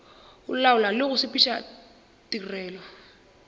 laola le go sepediša tirelo